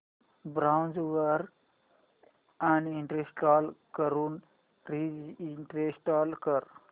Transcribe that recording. browser uninstall करून reinstall कर